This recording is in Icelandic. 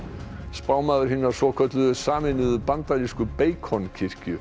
spámaður hinnar svokölluðu Sameinuðu bandarísku